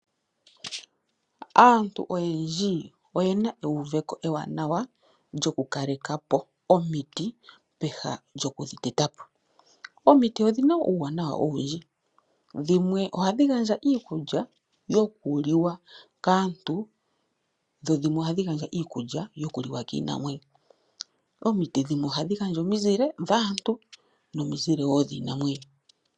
Aantu oyendji oyena euveko ewanawa lyokukalepo omiti, peha lyokudhi tetapo. Omiti odhina uuwanawa owundji. Dhimwe ohadhi gandja iikulya yokuliwa kaantu, nenge kiinamwenyo. Omiti dhimwe wo ohadhi gandja omizile kaantu, nokiinamwenyo.